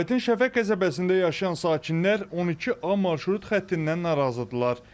Sumqayıtın Şəfəq qəsəbəsində yaşayan sakinlər 12A marşrut xəttindən narazıdırlar.